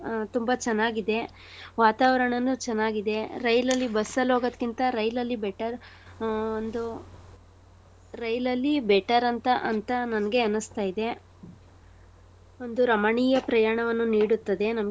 ಆ ತುಂಬಾ ಚನ್ನಾಗಿದೆ. ವಾತಾವರಣನು ಚನ್ನಾಗಿದೆ. ರೈಲಲ್ಲಿ bus ಅಲ್ ಹೋಗೋದ್ಕಿಂತ ರೈಲಲಿ better ಆ ಒಂದು ರೈಲಲಿ better ಅಂತ ಅಂತ ನಂಗೆ ಅನ್ನುಸ್ತಯಿದೆ. ಒಂದು ರಮಣೀಯ ಪ್ರಯಾಣವನ್ನು ನೀಡುತ್ತದೆ.